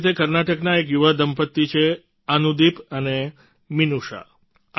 આવી જ રીતે કર્ણાટકના એક યુવા દંપત્તિ છે અનુદીપ અને મિનૂષા